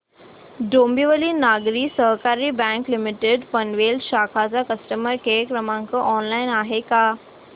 डोंबिवली नागरी सहकारी bank limited Panvel शाखा चा कस्टमर केअर क्रमांक ऑनलाइन आहे का